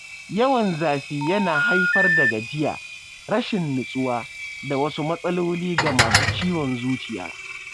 Yawan zafi yana haifar da gajiya, rashin nutsuwa, da wasu matsaloli ga masu ciwon zuciya.